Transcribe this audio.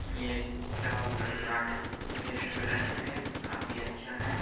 ये restaurant best restaurant है काफी अच्छा है।